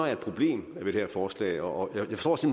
er et problem ved det her forslag og jeg forstår